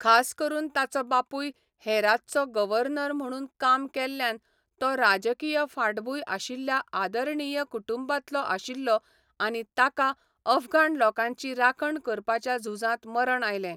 खास करून ताचो बापूय हेरातचो गव्हर्नर म्हणून काम केल्ल्यान तो राजकीय फाटभूंय आशिल्ल्या आदरणीय कुटुंबांतलो आशिल्लो आनी ताका अफगाण लोकांची राखण करपाच्या झुजांत मरण आयलें.